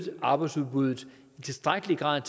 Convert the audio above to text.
arbejdsudbuddet i tilstrækkelig grad